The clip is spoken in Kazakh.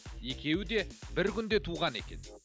екеуі де бір күнде туған екен